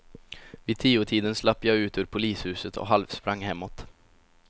Vid tiotiden slapp jag ut ur polishuset och halvsprang hemåt.